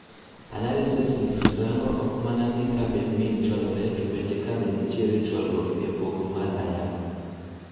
Analysis ni rango ok mana ni ka be mean chwalore to bende ka be nitiere chwalruok epogo mar ayanga